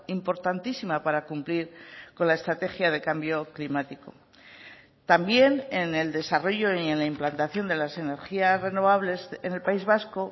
importantísima para cumplir con la estrategia de cambio climático también en el desarrollo y en la implantación de las energías renovables en el país vasco